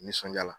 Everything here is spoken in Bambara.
Nisɔndiya